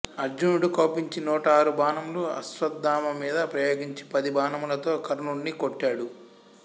అర్జునుడు కోపించి నూట ఆరు బాణములు అశ్వత్థామ మీద ప్రయోగించి పది బాణములతో కర్ణుడిని కొట్టాడు